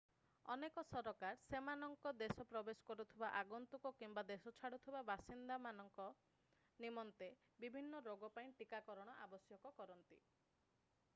ଅନେକ ସରକାର ସେମାନଙ୍କ ଦେଶରେ ପ୍ରବେଶ କରୁଥିବା ଆଗନ୍ତୁକ କିମ୍ବା ଦେଶ ଛାଡ଼ୁଥିବା ବାସିନ୍ଦାମାନ*କ ନିମନ୍ତେ ବିଭିନ୍ନ ରୋଗ ପାଇଁ ଟିକାକରଣ ଆବଶ୍ୟକ କରନ୍ତି।